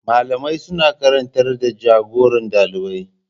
Malamai suna karantar da jagoran dalibai.